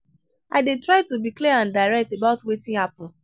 i dey try to be clear and direct about wetin happen.